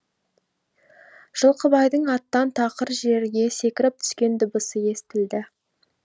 жылқыбайдың аттан тақыр жерге секіріп түскен дыбысы естілді